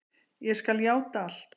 Ég skal játa allt.